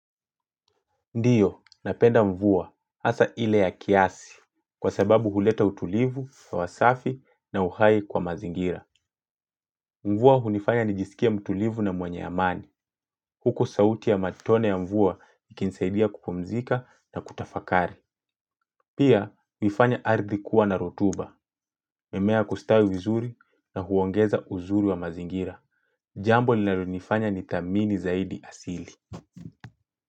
Ndiyo, napenda mvua, hasa ile ya kiasi, kwa sababu huleta utulivu, hewa safi na uhai kwa mazingira. Mvua hunifanya nijisikie mtulivu na mwenye amani, huku sauti ya matone ya mvua ikinisaidia kupumzika na kutafakari. Pia, huifanya ardhi kuwa na rotuba, mimea kustawi vizuri na huongeza uzuri wa mazingira. Jambo linalonifanya ni thamini zaidi asili.